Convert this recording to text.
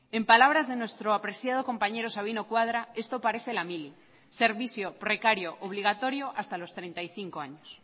en palabras de nuestro apreciado compañero sabino cuadra esto parece la mili servicio precario obligatorio hasta los treinta y cinco años